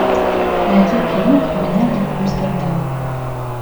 найди кино криминальный амстердам